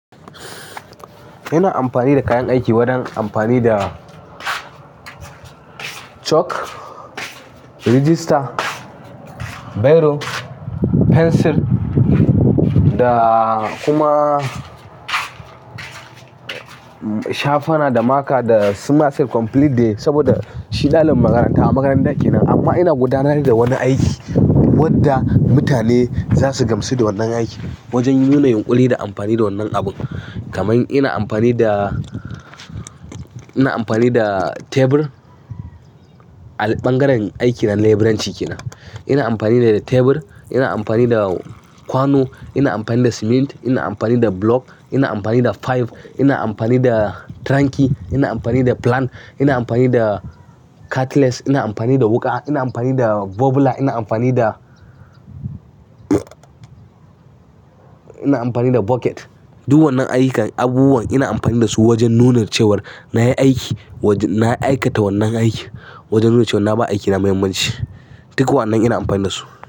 Ina amfani da kayan aiki wajen amfani da chalk, register, biro, fensir da kuma shafana da marker da su maths set complete dai, saboda shi dalibin makaranta a makaranta kenan. Amma ina gudanar da wani aiki wadda mutane za su gamsu da wannan aikin. Wajen nuna yunƙuri da amfani da wannan abun. Kaman ina amfani da, ina amfani da tebur a ɓangaren aikin na leburanci kenan. Ina amfani da tebur, ina amfani da kwano, ina amfani da siminti, ina amfani da block, ina amfani da fiyif, ina amfani da tranki, ina amfani da plank, ina amfani da cutlass, ina amfani da wuƙa, ina amfani da bubbler, ina amfani da, ina amfani da bucket. Duk wannan ayyukan abubuwan ina amfani da su wajen nuna cewar na yi aiki, na aikata wannan aiki. Wajen nuna cewar na bawa aikina muhimmanci. Duk wannan ina amfani da su.